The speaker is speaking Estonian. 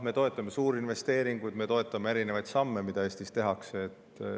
Me toetame suurinvesteeringuid, me toetame erinevaid samme, mida Eestis tehakse.